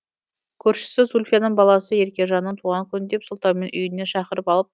көршісі зульфияның баласы еркежанның туған күні деп сылтаумен үйіне шақырып алып